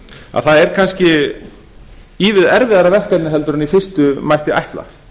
að það er kannski ívið erfiðara verkefni en í fyrstu mætti ætla